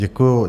Děkuju.